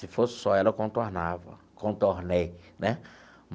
Se fosse só ela, eu contornava, contornei né